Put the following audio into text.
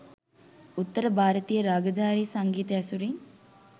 උත්තර භාරතීය රාගධාරී සංගීතය ඇසුරින්